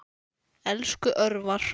Elsku Örvar.